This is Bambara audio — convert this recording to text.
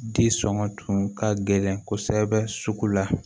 Di sɔngɔ tun ka gɛlɛn kosɛbɛ sugu la